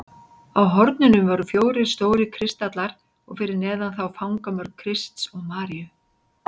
Á hornunum voru fjórir stórir kristallar og fyrir neðan þá fangamörk Krists og Maríu.